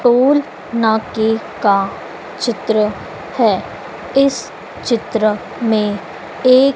Toll नाके का चित्र है। इस चित्र में एक--